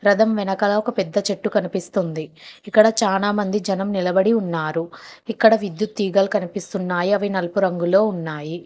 రథం వెనకాల ఒక పెద్ద చెట్టు కనిపిస్తుంది ఇక్కడ చానామంది జనం నిలబడి ఉన్నారు ఇక్కడ విద్యుత్ తీగల కనిపిస్తున్నాయి అవి నలుపు రంగులో ఉన్నాయి.